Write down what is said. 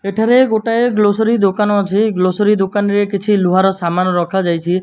ଏଠାରେ ଗୋଟେ ଗ୍ରୋସରୀ ଦୋକାନ ଅଛି। ଗ୍ରୋସରୀ ଦୋକାନ ରେ କିଛି ଲୁହାର ସାମାନ ରଖାଯାଇଛି।